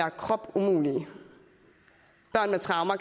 unge